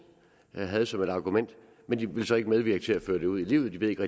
havde som argument men de ville så ikke medvirke til at føre det ud i livet de ved ikke